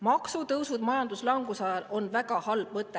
Maksutõusud majanduslanguse ajal on väga halb mõte.